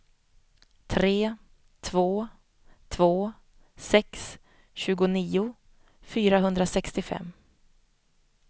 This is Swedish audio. tre två två sex tjugonio fyrahundrasextiofem